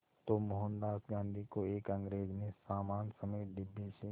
तो मोहनदास गांधी को एक अंग्रेज़ ने सामान समेत डिब्बे से